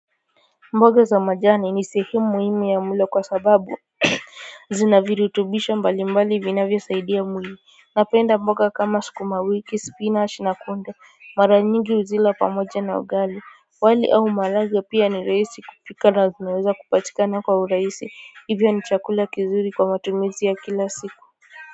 Mboga za majani ni sehemu muhimu ya mlo kwa sababu zina virutubisho mbalimbali vinavyosaidia mwili. Napenda mboga kama sukuma wiki spinachi na kunde mara nyingi huzila pamoja na ugali, wali au maharagwe pia ni rahisi kupika na zinaweza kupatikana kwa urahisi hivyo ni chakula kizuri kwa matumizi ya kila siku.